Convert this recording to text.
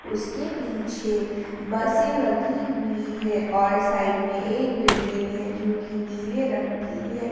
उसके पीछे बसे लगी हुई है और साइड में एक बिल्डिंग है जोकि नीले रंग की है।